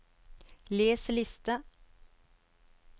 les liste